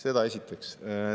Seda esiteks.